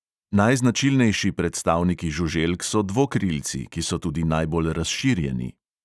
Najznačilnejši predstavniki žuželk so dvokrilci, ki so tudi najbolj razširjeni.